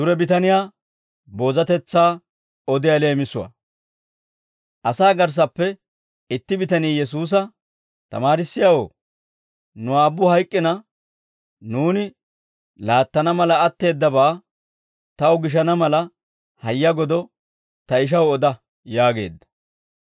Asaa garssappe itti bitanii Yesuusa, «Tamaarissiyaawoo, nu aabbu hayk'k'ina nuuni laattana mala atteeddabaa, taw gishana mala hayya godo ta ishaw oda» yaageedda.